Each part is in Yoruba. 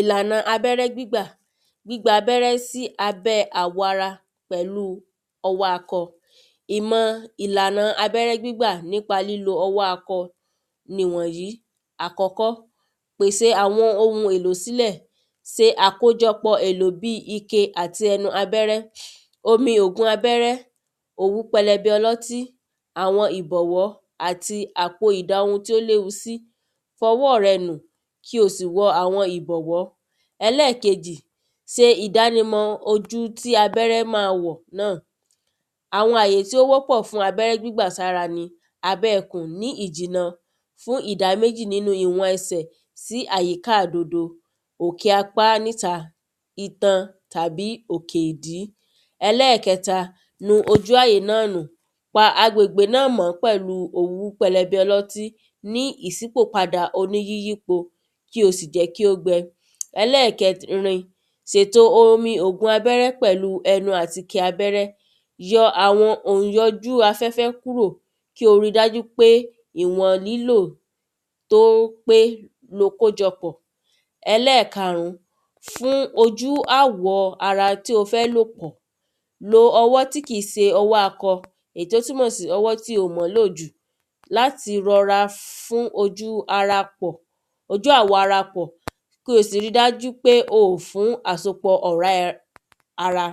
Ìlànà abẹ́rẹ́ gbígbà. Gbígbà abẹ́rẹ́ sí abẹ́ àwọ̀ ara pẹ̀lú ọwọ́ akọ ìmọ̀ ìlànà abẹ́rẹ́ gbígbà nípa ọwọ́ akọ nìwọ̀nyìí àkọ́kọ́ pèsè àwọn ohun èlò sílẹ̀ se àkójọpọ̀ èlò bí ike àti ẹnu abẹ́rẹ́ omi ògùn abẹ́rẹ́ òwú pẹlẹbẹ ọlọ́tí àwọn ìbọ̀wọ́ àti àpò ìda ohun ti ó léwu sí fọwọ́ rẹ nù kí o sì wọ àwọn ìbọ̀wọ́. Ẹlẹ́kejì se ìdánimọ̀ ojú tí abẹ́rẹ́ má wọ̀ náà àwọn àyè tí ó wọ́pọ̀ fún abẹ́rẹ́ gbígbà sára ni abẹ́ ikùn fún ìjìná ní ìdá méjì fún ìwọ̀n ẹsẹ̀ tí àyíká ìdodo òkè apá níta itan tàbí òkè ìdí. Ẹlẹ́ẹ̀kẹta nu ojú àyè náà nù pa agbègbè náà mọ́ pẹ̀lú òwú pẹlẹbẹ ọlọ́tí ní ìsípò padà oní yíyípo kí o sì jẹ́ kí ó gbe Ẹlẹ́ẹ̀kẹrin sèto omi ògùn abẹ́rẹ́ pẹ̀lú ẹnu àti ike abẹ́rẹ́ yọ àwọn ònyọjú afẹ́fẹ́ kúrò kí o rí dájú pé ìwọ̀n lílò tó pé ni o kójọ pọ̀ Ẹlẹ́ẹ̀karùn fún ojú àwọ̀ ara tí o fẹ́ lò pọ̀ lo ọwọ́ tí kìí se ọwọ́ akọ èyí tó túnmọ̀ sí ọwọ́ tí o mò lò jù láti rọra fún ojú ara pọ̀ ojú àwọ̀ ara pọ̀ kí o sì rí dájú pé o fún ọ̀rá àsopọ̀ ara.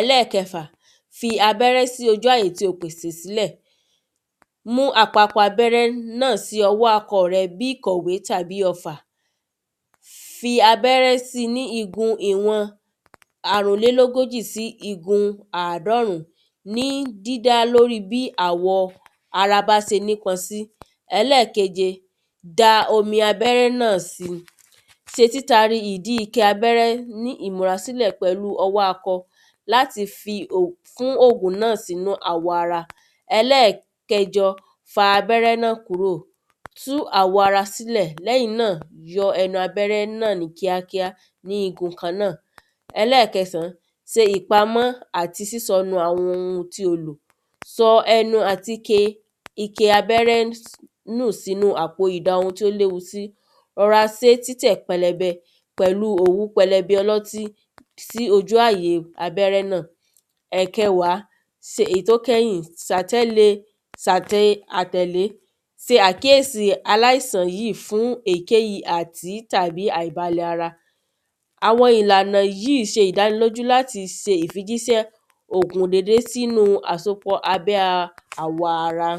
Ẹlẹ́ẹ̀kẹfà fi abẹ́rẹ́ sí ojú àyè tí o pèsè sílẹ̀ mú apapa abẹ́rẹ́ náà sí ọwọ́ akọ rẹ bí ìkọ̀wé tàbí ọfà fi abẹ́rẹ́ sí ní igun ìwọ̀n àrùnlélógójì sí igun àádọ́rùn ní dídá lórí bí àwọ̀ ara bá se nípọn sí. Ẹlẹ́ẹ̀keje da omi abẹ́rẹ́ náà sí ṣe títati ìdí ike abẹ́rẹ́n ní ìmúra sílẹ̀ fún ọwọ́ akọ láti fi fún ògùn náà sínú àwọ̀ ara. Ẹlẹ́ẹ̀kejọ fa abẹ́rẹ́ náà kúrò tú àwọ̀ ara sílẹ̀ lẹ́yìn náà yọ abẹ́rẹ́ náà ní kíákíá ní igun kan náà. Ẹlẹ́ẹ̀kẹsàn se ìpamọ́ àti sísọnù àwọn ohun tí o lò sọ ẹnu àti ike ike abẹ́rẹ́ nù nù sínú àpò ìda ohun tí ó léwu sí rọra sé títẹ̀ pẹlẹbẹ pẹ̀lú òwú pẹlẹbẹ ọlọ́tí sí ojú àyè abẹ́rẹ́ náà. Ẹ̀kẹwàá èyí tó kẹ́yìn sátẹ́lé se àtẹ̀lé se àkíyèsí aláiàsàn yìí fún èkéyìí àti tàbí àìbalẹ̀ ara àwọn ìlànà yìí ṣe ìdánilójú láti ṣe ìfijíṣẹ́ ògùn dédé sínú àsopọ̀ abẹ́ àwọ̀ ara.